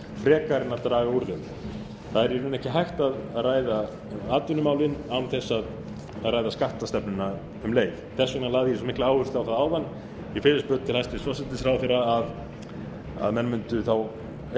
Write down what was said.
frekar en að draga úr þeim það er í rauninni ekki hægt að ræða atvinnumálin án þess að ræða skattstefnuna um leið þess vegna lagði ég svo mikla áherslu á það áðan í fyrirspurn til hæstvirts forsætisráðherra að menn mundu þá ef